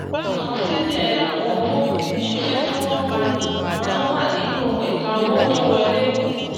àkọsílẹ àwọn owó iṣẹ́ tí wọ́n pà má n wà nínú ẹ̀ka owó tó wọlé.